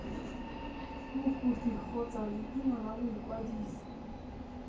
mokopi kgotsa leina la boikwadiso